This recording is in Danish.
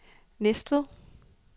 Næstved